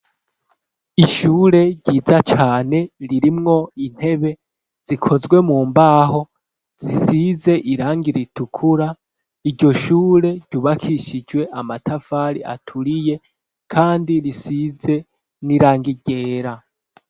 Ishure ryiza cane ririmwo intebe zikozwe mu mbaho zisize irangi ritukura iryo shure ryubakishijwe amatafari aturiye kandi risize n'irangi ryera